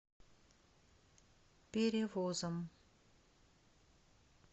перевозом